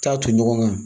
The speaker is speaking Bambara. Taa ton ɲɔgɔn kan